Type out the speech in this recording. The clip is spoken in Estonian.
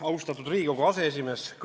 Austatud Riigikogu aseesimees!